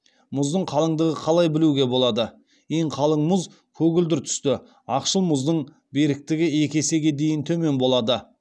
мұздың қалыңдығы қалай білуге болады ең қалың мұз көгілдір түсті ақшыл мұздың беріктігі екі есеге дейін төмен болады